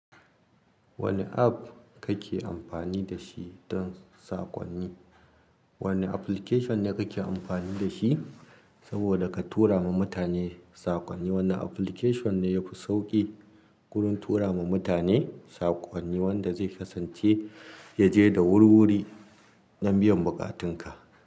Wane app kake amfani da shi don saƙonni? Wane application ne kake amfani da shi saboda ka tura ma mutane saƙonni? Wanne application ne yafi sauƙi gurin tura ma mutane saƙonni wanda zai kasance ya je da wuri-wuri don biyan buƙatunka?